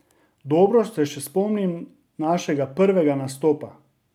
Dobro se še spomnim našega prvega nastopa.